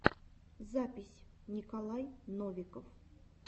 запись николай новиков